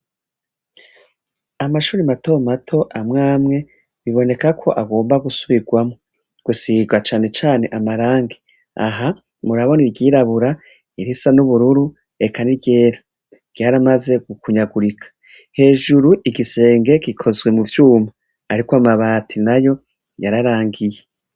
Amashure matomato amwamwe bibonekako agomba gusubigwamwo gusiga canecane amarangi. Aha murabona iryirabura, irisa n'ubururu eka n'iryera ryaramaze gukunyagurika. Hejuru igisenge gikozwe muvyuma ariko amabati nayo yararangiye.